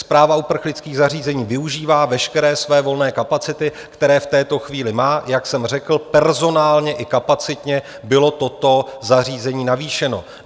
Správa uprchlických zařízení využívá veškeré své volné kapacity, které v této chvíli má, jak jsem řekl, personálně i kapacitně bylo toto zařízení navýšeno.